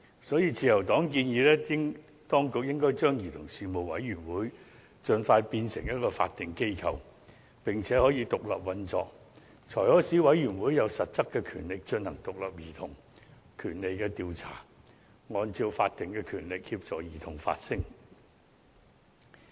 所以，自由黨建議當局應該盡快把委員會變為法定機構，並且可以獨立運作，才可以使委員會有實質權力進行獨立的兒童權利調查，按照法定權力協助兒童發聲。